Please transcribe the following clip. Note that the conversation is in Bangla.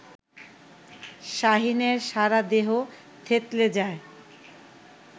শাহীনের সারাদেহ থেতলে যায়